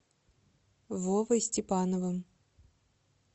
вовой степановым